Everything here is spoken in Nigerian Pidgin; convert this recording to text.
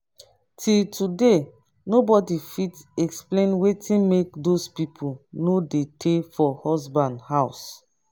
till today nobody fit explain wetin make doz people no dey tay for husband house